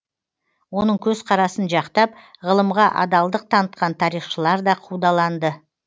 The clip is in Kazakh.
оның көзкарасын жақтап ғылымға адалдық танытқан тарихшылар да қудаланды